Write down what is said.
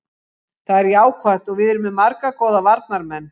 Það er jákvætt að við erum með marga góða varnarmenn.